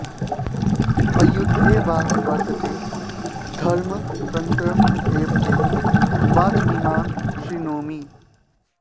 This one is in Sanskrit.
अयुद्धे वा वर्तते धर्मतन्त्रं तथैव ते वाचमिमां श्रृणोमि